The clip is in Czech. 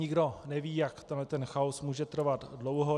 Nikdo neví, jak tento chaos může trvat dlouho.